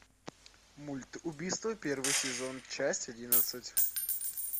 мульт убийство первый сезон часть одиннадцать